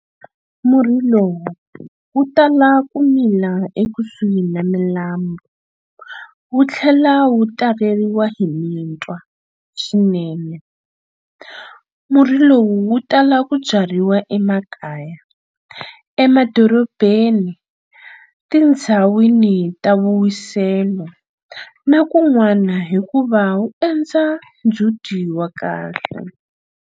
Murhi lowu wu tala ku mila ekusuhi na milambu, wu tlhela wu taleriwa hi mitwa swinene. Murhi lowu wu tala ku byariwa emakaya, madorobeni, tindhawini ta vuwiselo na kunwana hikuva wu endla ndzhuti wa kahle.